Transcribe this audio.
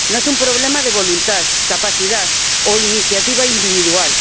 No es un problema de voluntad, capacidad o iniciativa individual.